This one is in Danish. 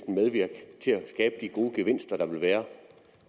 medvirke til at skabe de gode gevinster der vil være